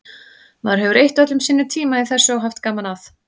Maður hefur eytt öllum sínum tíma í þessu og haft gaman að.